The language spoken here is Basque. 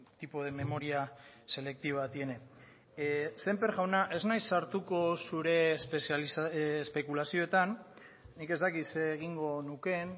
tipo de memoria selectiva tiene sémper jauna ez naiz sartuko zure espekulazioetan nik ez dakit zer egingo nukeen